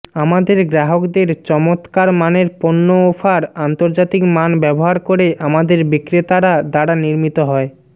আমাদের গ্রাহকদের চমৎকার মানের পণ্য অফার আন্তর্জাতিক মান ব্যবহার করে আমাদের বিক্রেতারা দ্বারা নির্মিত হয়